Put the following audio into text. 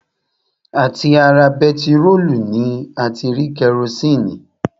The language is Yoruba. À ti ara bentiróòlù ni a ti rí kerosini